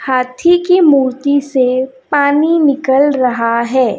हाथी की मूर्ति से पानी निकल रहा है।